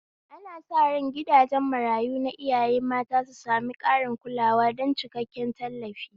Ana sa ran gidajen marayu na iyaye mata su sami ƙarin kulawa don cikakken tallafi.